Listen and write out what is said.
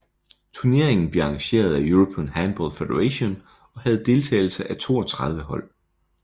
Turneringen bliver arrangeret af European Handball Federation og havde deltagelse af 32 hold